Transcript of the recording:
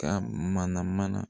Ka mana mana